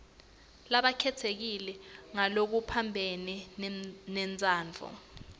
labakhetsekile ngalokuphambene nentsandvo